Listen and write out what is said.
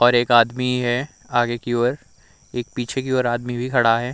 और एक आदमी है आगे की ओर एक पीछे की ओर आदमी भी खड़ा है।